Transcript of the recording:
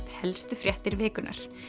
helstu fréttir vikunnar